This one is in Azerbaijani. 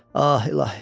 Ah, ilahi!